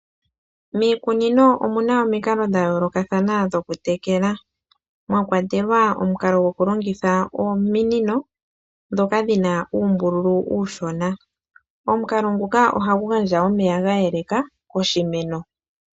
Aanikunino ohaalongitha omikalo dha yolokathana oku tekela iimeno yawo, momikalo ndhika omwakwatelwa omukalo gwokulongitha ominino ndhono hadhi kala dhina uumbululu uushona, nomumakalo nguka ohagu gandja omeya gayeleka kiimeno.